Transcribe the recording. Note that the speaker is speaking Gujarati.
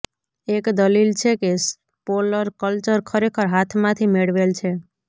એક દલીલ છે કે સ્પોલર કલ્ચર ખરેખર હાથમાંથી મેળવેલ છે